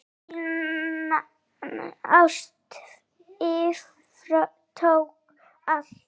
Þín ást yfirtók allt.